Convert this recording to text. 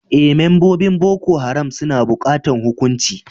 Eh, membobin Boko Haram suna bukatan hukuncin.